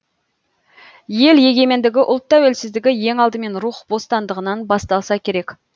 ел егемендігі ұлт тәуелсіздігі ең алдымен рух бостандығынан басталса керек